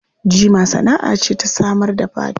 Jima sana'a ce ta samar da fata.